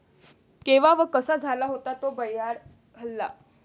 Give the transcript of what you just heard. केव्हा व कसा झाला होता तो भ्याड हल्ला?